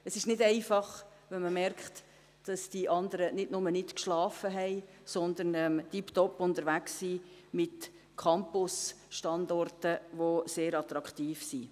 Es ist nicht einfach, wenn man merkt, dass die anderen nicht nur nicht geschlafen haben, sondern tipptopp unterwegs sind mit Campusstandorten, die sehr attraktiv sind.